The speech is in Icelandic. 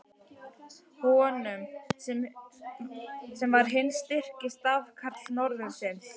Honum, sem var hinn styrki stafkarl norðursins!